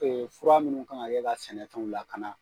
fura minnu kan kɛ ka sɛnɛfɛnw lakana.